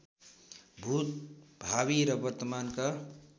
भूत भावी र वर्तमानका